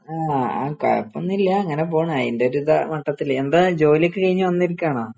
ആ കുഴപ്പൊന്നൂല്ല്യ ഇങ്ങനെ പോണു അതിൻറെയൊരിത് മട്ടത്തില്. എന്താ ജോലിയൊക്കെ കഴിഞ്ഞു വന്നിരിക്കുവാണോ?